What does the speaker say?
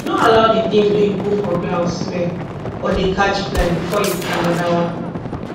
no allow the things wey you put for ground smell or dey catch fly before you put anoda one